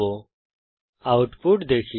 এখন আউটপুট দেখি